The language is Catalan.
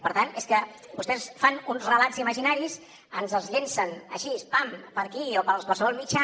per tant és que vostès fan uns relats imaginaris ens els llencen així pam per aquí o per qualsevol mitjà